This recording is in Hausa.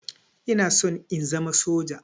Ina son in zama soja.